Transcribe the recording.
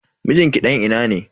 Mijin ki dan ina ne?